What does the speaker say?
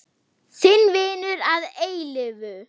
Þinn vinur að eilífu.